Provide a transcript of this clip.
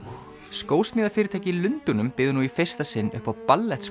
skósmíðafyrirtæki í Lundúnum býður nú í fyrsta sinn upp á